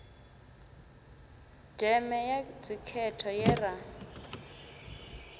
deme ya dzikhetho ye ra